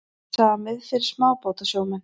Samið fyrir smábátasjómenn